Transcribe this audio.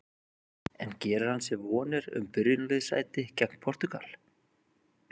En gerir hann sér vonir um byrjunarliðssæti gegn Portúgal?